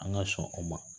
An ka sɔn o ma